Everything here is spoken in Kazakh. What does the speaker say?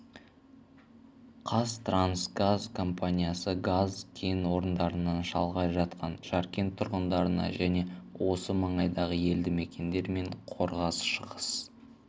қазтрансгаз компаниясы газ кен орындарынан шалғай жатқан жаркент тұрғындарына және осы маңайдағы елді мекендер мен қорғас-шығыс